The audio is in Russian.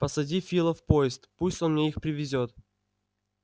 посади фила в поезд пусть он мне их привезёт